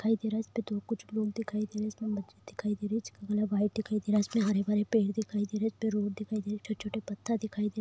दिखाई दे रहा है इसमें दो कुछ लोग दिखाई दे रहे हैं इसमें इसमें हरे भरे पेड़ दिखाई दे रहे हैं इसपे रोड दिखाई दे रहा है| छोटे-छोटे पत्थर दिखाई दे --